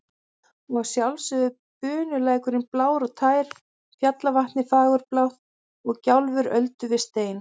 Og að sjálfsögðu bunulækurinn blár og tær, fjallavatnið fagurblátt og gjálfur öldu við stein.